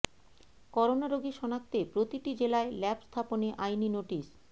corona রোগী শনাক্তে প্রতিটি জেলায় ল্যাব স্থাপনে আইনি নোটিশ